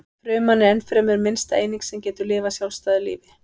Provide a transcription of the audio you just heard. Fruman er ennfremur minnsta eining sem getur lifað sjálfstæðu lífi.